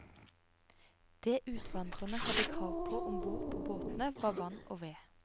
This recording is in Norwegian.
Det utvandrerne hadde krav på ombord på båtene var vann og ved.